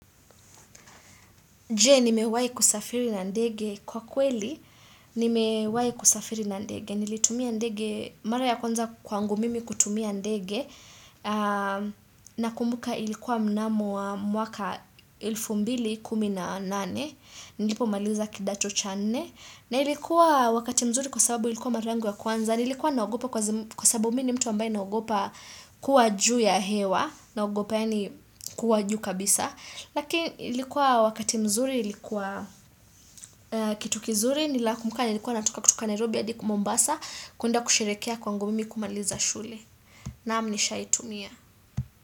Je, nimewahi kusafiri na ndege kwa kweli, nimewahi kusafiri na ndege, nilitumia ndege, mara ya kwanza kwangu mimi kutumia ndege, nakumbuka ilikuwa mnamo mwaka elfu mbili kumi na nane, nilipo maliza kidacho cha nne, na ilikuwa wakati mzuri kwa sababu ilikuwa mara yangu ya kwanza, nilikuwa na ogopa kwa sababu mimi mtu ambaye na ogopa kuwa juu ya hewa, na ogopa yaani kuwa juu kabisa, lakini ilikuwa wakati mzuri, ilikuwa kitu kizuri nilakumbuka niilikuwa natoka kutoka Nairobi hadi Mombasa kuenda kusherekea kwangu mimi kumaliza shule naam nishaitumia.